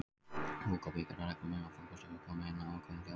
Fúga byggir á reglum um að fúgustefið komi inn á ákveðnum hljómum.